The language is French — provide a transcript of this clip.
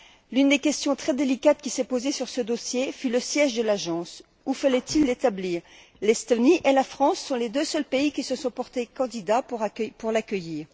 L'une des questions très délicates qui s'est posée sur ce dossier fut le siège de l'agence où fallait il l'établir? L'Estonie et la France sont les deux seuls pays qui se sont portés candidats pour l'accueillir.